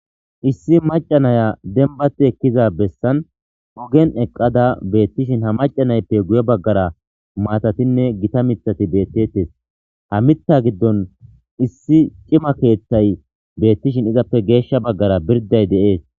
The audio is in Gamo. issi macanaya denbati ekkiza bessan ogen eqqada beettishin ha macanayppe guye baggara maatatinne gita mithati beettettes ha mitha giddon issi cima keeththay beettishin izappe geeshsha baggara birday de7ees